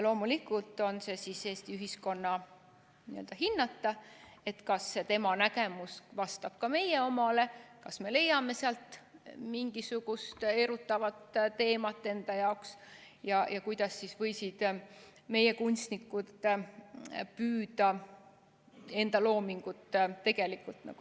Loomulikult on see siis Eesti ühiskonna hinnata, kas see tema nägemus vastab ka meie omale, kas me leiame sealt mingisugust erutavat teemat enda jaoks ja kuidas võisid meie kunstnikud püüda enda loomingut tegelikult esitada.